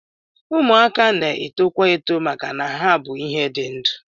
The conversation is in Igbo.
Ụmụaka na-etokwa eto maka na ha bụ ihe dị ndụ